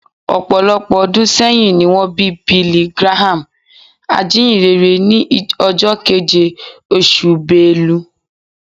Ọ̀pọ̀lọpọ̀ ọdún sẹ́yìn ni wọ́n bí Billy Graham, ajínyìnrere, ní ọjọ́ keje, oṣù Belu